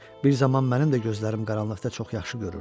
Bir zaman mənim də gözlərim qaranlıqda çox yaxşı görürdü.